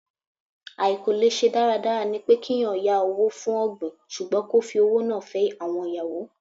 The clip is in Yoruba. Àìkò lẹ̀ṣe dáradára ni pé kí ẹ̀yàn yá owó fún ọ̀gbìn ṣùgbọ́n kó fi owó náà fẹ́ àwọn ìyàwó.